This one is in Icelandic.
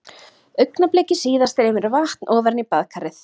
Augnabliki síðar streymir vatn ofan í baðkarið.